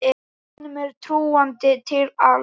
Honum er trúandi til alls.